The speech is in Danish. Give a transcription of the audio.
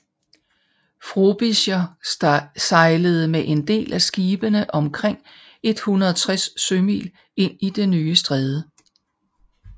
Frobisher sejlede med en del af skibene omkring 160 sømil ind i det nye stræde